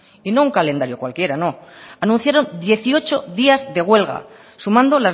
y no un calendario cualquiera no anunciaron dieciocho días de huelga sumando